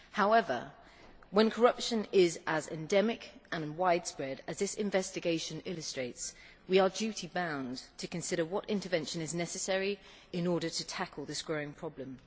However, when corruption is as endemic and widespread as this investigation illustrates, we are duty bound to consider what intervention is necessary in order to tackle this growing problem.